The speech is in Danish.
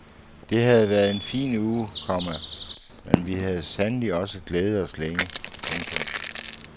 Det havde været en fin uge, komma men vi havde sandelig også glædet os længe. punktum